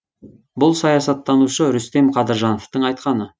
бұл саясаттанушы рүстем қадыржановтың айтқаны